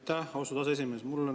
Aitäh, austatud aseesimees!